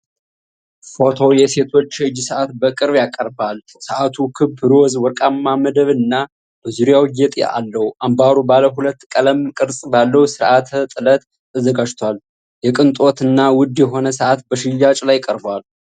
ፎቶው የሴቶች የእጅ ሰዓት በቅርብ ያቀርባል። ሰዓቱ ክብ፣ ሮዝ ወርቃማ መደብ እና በዙሪያው ጌጥ አለው። አምባሩ ባለ ሁለት ቀለም፣ ቅርጽ ባለው ስርዓተ-ጥለት ተዘጋጅቷል። የቅንጦት እና ውድ የሆነ ሰዓት በሽያጭ ላይ ቀርቧል።